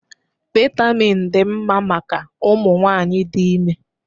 Vitamin dị mma maka ụmụ nwanyị dị ime